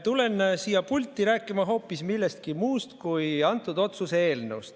Tulen siia pulti rääkima hoopis millestki muust kui sellest otsuse eelnõust.